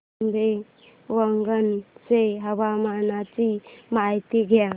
आंबेवंगन च्या हवामानाची माहिती द्या